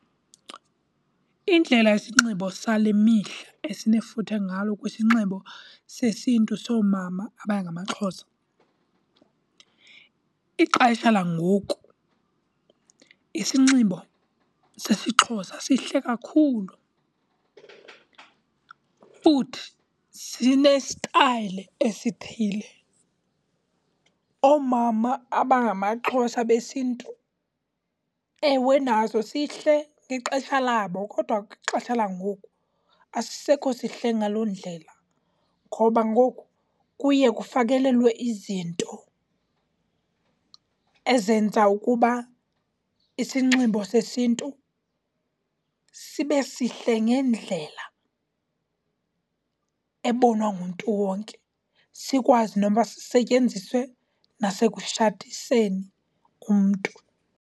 Indlela isinxibo sale mihla esinefuthe ngalo kwisinxibo sesiNtu soomama abangamaXhosa, ixesha langoku isinxibo sesiXhosa sihle kakhulu futhi sinesitayile esithile. Oomama abangamaXhosa besiNtu, ewe nazo sihle ngexesha labo kodwa kwixesha langoku asisisekho sihle ngaloo ndlela ngoba ngoku kuye kufakelelwe izinto ezenza ukuba isinxibo sesiNtu sibe sihle ngendlela ebonwa ngumntu wonke, sikwazi noba sisetyenziswe nasekushadiseni umntu.